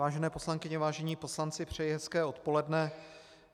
Vážené poslankyně, vážení poslanci, přeji hezké odpoledne.